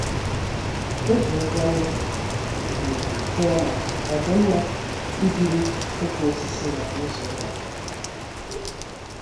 O ji nkwanye ùgwù jụọ ma ọ dị mma ibiri ịkwa osisi maka izu ụka.